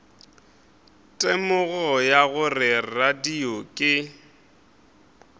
temogo ya gore radio ke